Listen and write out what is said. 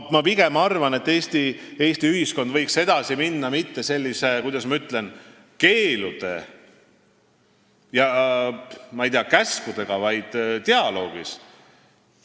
Ma arvan, et Eesti ühiskond võiks edasi minna mitte, kuidas ma ütlen, keeldude ja käskudega, vaid pigem dialoogiga.